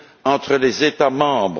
entre les États membres.